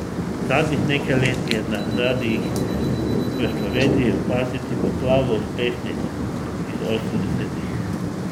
Zadnjih nekaj let je na radiih v Sloveniji opaziti poplavo uspešnic iz osemdesetih.